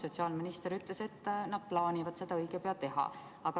Sotsiaalminister ütles, et veel ei ole, aga nad plaanivad seda õige pea teha.